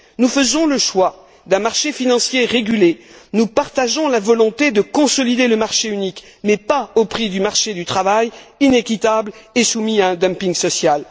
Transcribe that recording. Nous faisons le choix d'un marché financier régulé, nous partageons la volonté de consolider le marché unique, mais pas au prix du marché du travail inéquitable et soumis à un dumping social.